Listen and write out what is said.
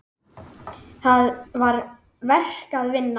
Það var verk að vinna.